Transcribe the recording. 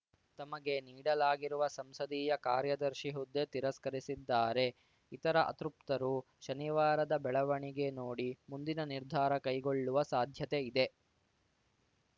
ತಮಗೆ ನೀಡಲಾಗಿರುವ ಸಂಸದೀಯ ಕಾರ್ಯದರ್ಶಿ ಹುದ್ದೆ ತಿರಸ್ಕರಿಸಿದ್ದಾರೆ ಇತರ ಅತೃಪ್ತರು ಶನಿವಾರದ ಬೆಳವಣಿಗೆ ನೋಡಿ ಮುಂದಿನ ನಿರ್ಧಾರ ಕೈಗೊಳ್ಳುವ ಸಾಧ್ಯತೆ ಇದೆ